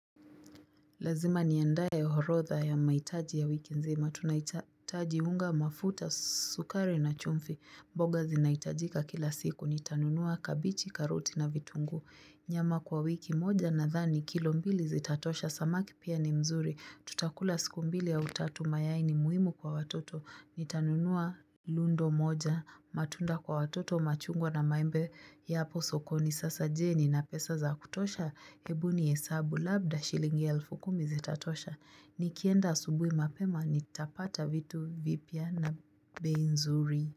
Lazima niandae orodha ya maitaji ya wiki nzima, tunaitaji unga mafuta sukari na chumvi, mboga zinaitajika kila siku, nitanunua kabichi, karoti na vitunguu, nyama kwa wiki moja nadhani, kilo mbili zitatosha, samaki pia ni mzuri, tutakula siku mbili au tatu mayai ni muhimu kwa watoto, nitanunua lundo moja, matunda kwa watoto machungwa na maembe ya hapo sokoni, sasa je nina pesa za kutosha? Ebu nihesabu labda shilingi elfu kumi zitatosha Nikienda asubui mapema nitapata vitu vipya na bei nzuri.